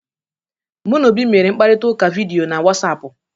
Mụ na Obi mere mkparịta ụka vidiyo na Wọsapụ